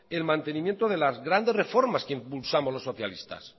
el mantenimiento de las grandes reformas que impulsamos los socialistas